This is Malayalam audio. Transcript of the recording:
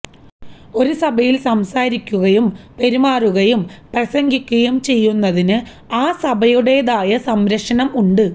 ഒരു സഭയില് സംസാരിക്കുകയും പെരുമാറുകയും പ്രസംഗിക്കുകയും ചെയ്യുന്നതിന് ആ സഭയുടേതായ സംരക്ഷണം ഉണ്ട്